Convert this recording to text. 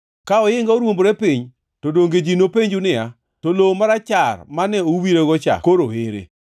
Ka ohinga oruombore piny, to donge ji nopenju niya, “To lowo marachar mane uwirego cha koro ere?”